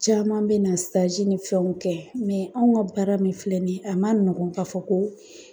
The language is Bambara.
Caman bɛ na ni fɛnw kɛ anw ka baara min filɛ nin ye a man nɔgɔn k'a fɔ ko